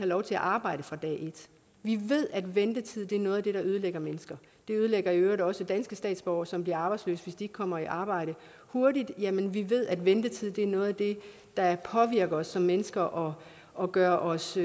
lov til at arbejde fra dag et vi ved at ventetid er noget af det der ødelægger mennesker det ødelægger i øvrigt også danske statsborgere som bliver arbejdsløse hvis de ikke kommer i arbejde hurtigt jamen vi ved at ventetid er noget af det der påvirker os som mennesker og og gør os